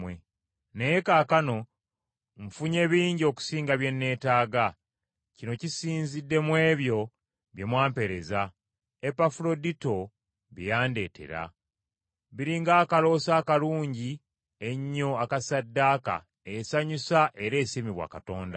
Naye kaakano nfunye bingi okusinga bye neetaaga, kino kisinzidde mu ebyo bye mwampeereza, Epafuladito bye yandeetera. Biri ng’akaloosa akalungi ennyo aka ssaddaaka esanyusa era esiimibwa Katonda.